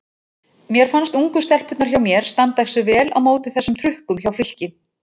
Mér fannst ungu stelpurnar hjá mér standa sig vel á móti þessum trukkum hjá Fylki.